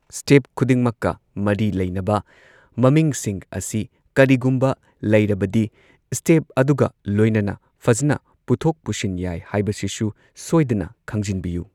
Step ꯈꯨꯗꯤꯡꯃꯛꯀ ꯃꯔꯤ ꯂꯩꯅꯕ ꯃꯃꯤꯡꯁꯤꯡ ꯑꯁꯤ, ꯀꯔꯤꯒꯨꯝꯕ ꯂꯩꯔꯕꯗꯤ, ꯁꯇꯦꯞ ꯑꯗꯨꯒ ꯂꯣꯏꯅꯅ ꯐꯖꯅ ꯄꯨꯊꯣꯛ ꯄꯨꯁꯤꯟ ꯌꯥꯏ ꯍꯥꯏꯕꯁꯤꯁꯨ ꯁꯣꯏꯗꯅ ꯈꯪꯖꯤꯟꯕꯤꯎ꯫